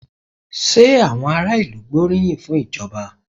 Ṣé àwọn ará ìlú gbóríyìn fún ìjọba?